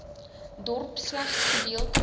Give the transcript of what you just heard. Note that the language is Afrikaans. dorp slegs gedeeltelike